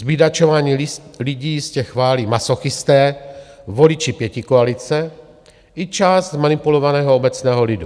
Zbídačování lidí jistě chválí masochisté, voliči pětikoalice i část zmanipulovaného obecného lidu.